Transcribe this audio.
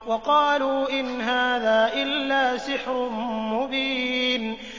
وَقَالُوا إِنْ هَٰذَا إِلَّا سِحْرٌ مُّبِينٌ